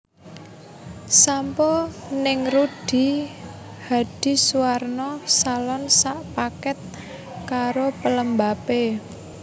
Sampo ning Rudy Hadisuwarno Salon sak paket karo pelembape